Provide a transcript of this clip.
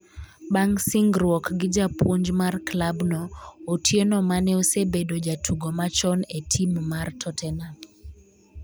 bang' singruok gi japuonj mar klabno Otieno ma ne osebedo jatugo machon e tim mar totenam